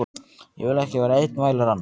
Ég vil ekki vera einn, vælir hann.